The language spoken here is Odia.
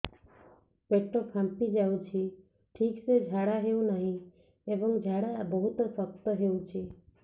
ପେଟ ଫାମ୍ପି ଯାଉଛି ଠିକ ସେ ଝାଡା ହେଉନାହିଁ ଏବଂ ଝାଡା ବହୁତ ଶକ୍ତ ହେଉଛି